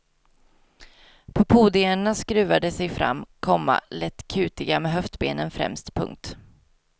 På podierna skruvar de sig fram, komma lätt kutiga med höftbenen främst. punkt